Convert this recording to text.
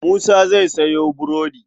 Musa zai sayo burodi.